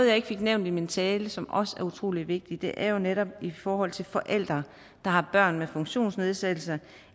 jeg ikke fik nævnt i min tale og som også er utrolig vigtigt er jo netop i forhold til forældre der har børn med funktionsnedsættelse